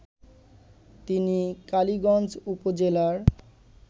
তিনি কালীগঞ্জ উপজেলার